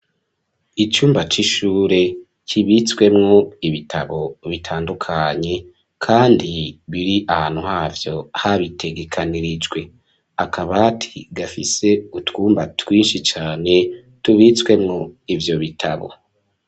Icumba c'ishure kibitswemwo ibitabo bitandukanye kandi biri ahantu havyo habitegekanirijwe, akabati gafise utwumba twinshi cane tubitswemwo ivyo bitabo